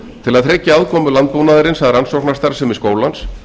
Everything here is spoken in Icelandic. til að tryggja aðkomu landbúnaðarins að rannsóknarstarfsemi skólans